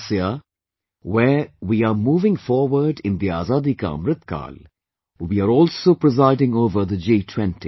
This year, where we are moving forward in the Azadi Ka Amritkaal, we are also presiding over the G20